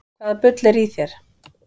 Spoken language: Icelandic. Hvaða bull er í þér?